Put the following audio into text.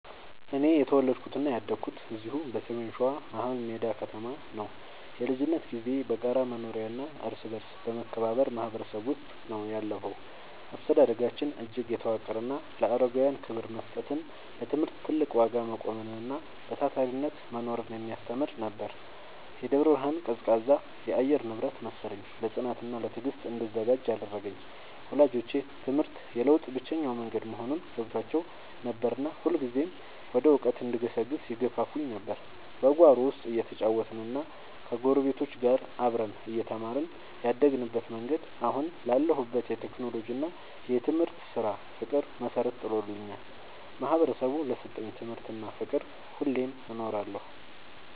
እኔ የተወለድኩትና ያደግኩት እዚሁ በሰሜን ሸዋ፣ መሀልሜዳ ከተማ ነው። የልጅነት ጊዜዬ በጋራ መኖሪያና እርስ በርስ በመከባበር ማህበረሰብ ውስጥ ነው ያለፈው። አስተዳደጋችን እጅግ የተዋቀረና ለአረጋውያን ክብር መስጠትን፣ ለትምህርት ትልቅ ዋጋ መቆምንና በታታሪነት መኖርን የሚያስተምር ነበር። የደብረ ብርሃን ቀዝቃዛ የአየር ንብረት መሰለኝ፣ ለጽናትና ለትዕግስት እንድዘጋጅ ያደረገኝ። ወላጆቼ ትምህርት የለውጥ ብቸኛው መንገድ መሆኑን ገብቷቸው ነበርና ሁልጊዜም ወደ እውቀት እንድገሰግስ ይገፋፉኝ ነበር። በጓሮ ውስጥ እየተጫወትንና ከጎረቤቶች ጋር አብረን እየተማርን ያደግንበት መንገድ፣ አሁን ላለሁበት የቴክኖሎጂና የትምህርት ስራ ፍቅር መሰረት ጥሎልኛል። ማህበረሰቡ ለሰጠኝ ትምህርትና ፍቅር ሁሌም እኖራለሁ።